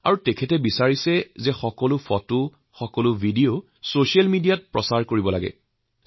তেওঁ আগ্ৰহ প্ৰকাশ কৰে গম পালে যে সেই ফটোবোৰ ভিডিঅবোৰ ছচিয়েল মিডিয়াত প্ৰচাৰ কৰা উচিৎ